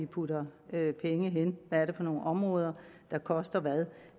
putter vi penge hen hvad er det for nogen områder der koster hvad